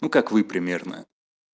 ну как вы примерно